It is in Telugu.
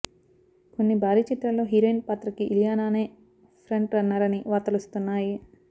కొన్ని భారీ చిత్రాల్లో హీరోయిన్ పాత్రకి ఇలియానానే ఫ్రంట్ రన్నర్ అని వార్తలొస్తున్నాయి